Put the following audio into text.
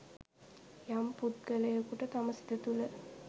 යම් පුද්ගලයකුට තම සිත තුළ